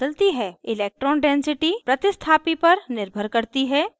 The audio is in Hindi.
electron density प्रतिस्थापी पर निर्भर करती है